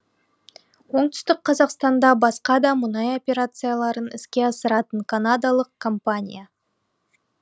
оңтүстік қазақстанда басқа да мұнай операцияларын іске асыратын канадалық компания